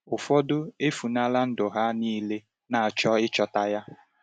Ụfọdụ efunela ndụ ha niile na-achọ ịchọta ya.